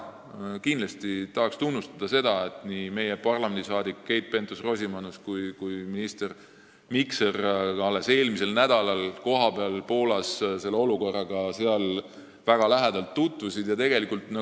Kindlasti tahan tunnustada seda, et nii meie parlamendiliige Keit Pentus-Rosimannus kui minister Mikser käisid alles eelmisel nädalal Poolas kohapeal ja tutvusid väga lähedalt sealse olukorraga.